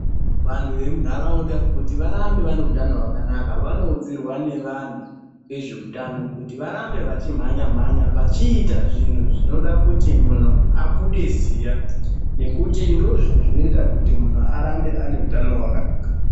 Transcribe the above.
Vanhu vemunharaunda kuti varambe vane utano hwakanaka, vanoudzirwa nevanhu vezveutano kuti varambe vachimhanya mhanya. Vachiita zvinhu zvinoda kuti munhu abude ziya, nekuti ndoozvinhu zvinoita kuti munhu arambe ane utano hwakanaka.